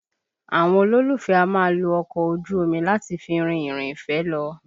Àwọn olólùfẹ́ a máa lo ọkọ ojú omi láti fi rin ìrìn ìfẹ́ lọ